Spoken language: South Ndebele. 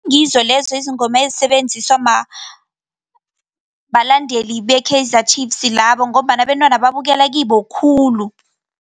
Ngizo lezo izingoma ezisebetjenziswa balandeli b-Kaizer Chiefs labo ngombana abentwana babukela kibo khulu.